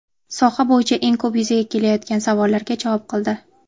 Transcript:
soha bo‘yicha eng ko‘p yuzaga kelayotgan savollarga javob qildi.